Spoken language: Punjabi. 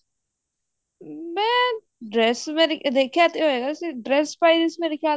ਮੈਂ dress ਵੇਖਿਆ ਤੇ ਹੈਗਾ ਸੀ dress ਪਾਈ ਹੋਈ ਸੀ ਮੇਰੇ ਖਿਆਲ